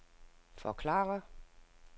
forklare